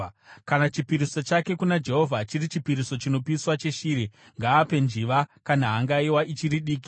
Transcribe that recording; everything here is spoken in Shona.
“ ‘Kana chipiriso chake kuna Jehovha chiri chipiriso chinopiswa cheshiri, ngaape njiva kana hangaiwa ichiri diki.